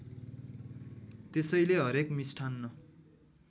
त्यसैले हरेक मिष्ठान्न